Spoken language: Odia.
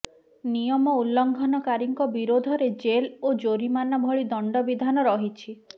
ନିୟମ ଉଲ୍ଲଂଘନକାରୀଙ୍କ ବିରୋଧରେ ଜେଲ ଓ ଜରିମାନା ଭଳି ଦଣ୍ଡ ବିଧାନ ରହିଛି